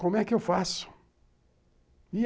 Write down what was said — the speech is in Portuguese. Como é que eu faço?